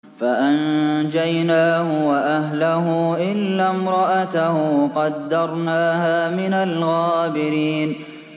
فَأَنجَيْنَاهُ وَأَهْلَهُ إِلَّا امْرَأَتَهُ قَدَّرْنَاهَا مِنَ الْغَابِرِينَ